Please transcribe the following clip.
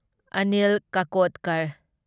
Anil Kakodkar